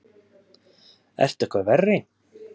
Ertu eitthvað verri!